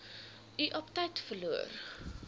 u aptyt verloor